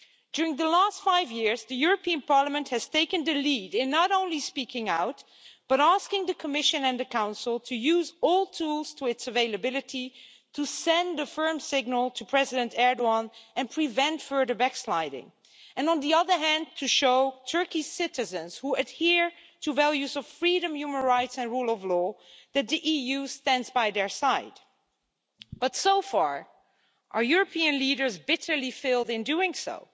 During the last five years, the European Parliament has taken the lead in not only speaking out, but also asking the Commission and the Council to use all available tools to send a firm signal to President Erdoğan and prevent further backsliding and, on the other hand, to show Turkey's citizens who adhere to values of freedom, human rights and the rule of law that the EU stands by their side. But so far, our European leaders have bitterly failed in doing so.